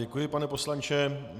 Děkuji, pane poslanče.